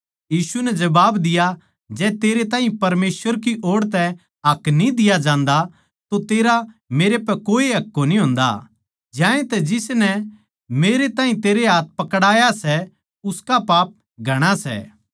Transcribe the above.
यीशु नै जबाब दिया जै तेरै ताहीं परमेसवर तै हक न्ही दिया जान्दा तो तेरा मेरै पै कोए हक कोनी होंदा ज्यांतै जिसनै मेरैताहीं तेरै हाथ पकड़आया सै उसका पाप घणा सै